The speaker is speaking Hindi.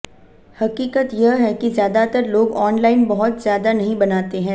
हकीकत यह है कि ज्यादातर लोग ऑनलाइन बहुत ज्यादा नहीं बनाते हैं